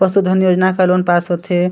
परसो घन योजना का लोन पास होथे।